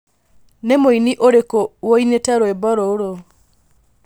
nī mūini ūriku woinite rwīmbo rūrū